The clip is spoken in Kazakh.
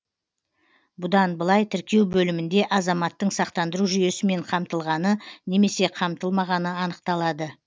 бұдан былай тіркеу бөлімінде азаматтың сақтандыру жүйесімен қамтылғаны немесе қамтылмағаны анықталады